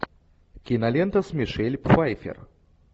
кинолента с мишель пфайффер